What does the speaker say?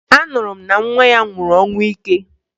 Anụrụ m na nwa ya nwụrụ ọnwụ ike